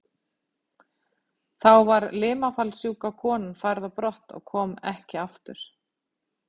Þá var limafallssjúka konan færð á brott og kom ekki aftur.